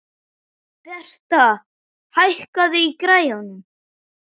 Bertha, hækkaðu í græjunum.